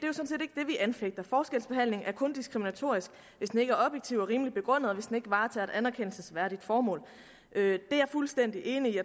vi anfægter forskelsbehandling er kun diskriminatorisk hvis den ikke er objektiv og rimelig begrundet og hvis den ikke varetager et anerkendelsesværdigt formål det er jeg fuldstændig enig